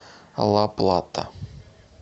ла плата